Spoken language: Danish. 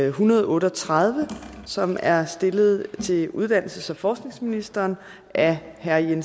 en hundrede og otte og tredive som er stillet til uddannelses og forskningsministeren af herre jens